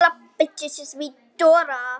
Efstur á blaði einnig hér.